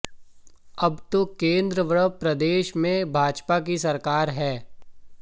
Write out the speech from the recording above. अब तो केंद्र व प्रदेश में भाजपा की सरकार है